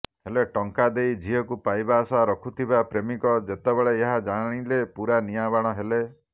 ହେଲେ ଟଙ୍କା ଦେଇ ଝିଅକୁ ପାଇବା ଆଶା ରଖିଥିବା ପ୍ରେମିକ ଯେତେବେଳେ ଏହା ଜାଣିଲେ ପୂରା ନିଆଁବାଣ ହେଲେ